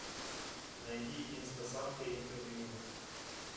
найди инстасамка интервью